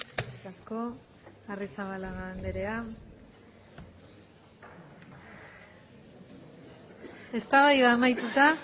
eskerrik asko arrizabalaga andrea eztabaida amaituta